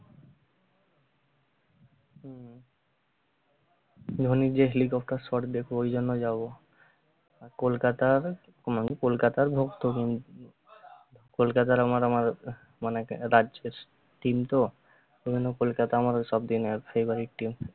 ধোনীর যে helicopter shot দেখবো ঐজন্য যাবো আর কলকাতার হম কলকাতার ভক্ত হম কলকাতার আবার আমার মানে team তো সেইজন্য কোলকাতা আমার সব দিনে favourite team